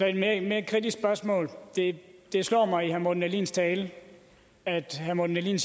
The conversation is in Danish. jeg et mere kritisk spørgsmål det slår mig i herre morten dahlins tale at herre morten dahlin